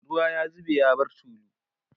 ruwa ya zube ya bar tulu